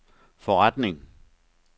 forretning